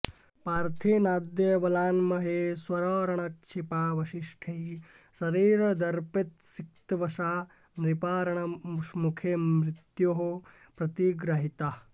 पार्थेनाद्य बलान्महेश्वररणक्षेपावशिष्टैः शरैर् दर्पोत्सिक्तवशा नृपा रणमुखे मृत्योः प्रतिग्राहिताः